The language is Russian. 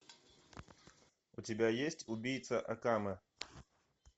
у тебя есть убийца акаме